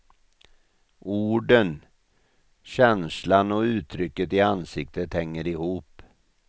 Orden, känslan och uttrycket i ansiktet hänger ihop.